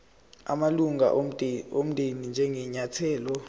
amalunga omndeni njengenyathelo